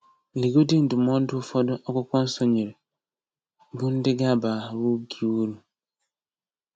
Legodị ndụmọdụ ụfọdụ Akwụkwọ Nsọ nyere, bụ ndị ga-abara gị uru.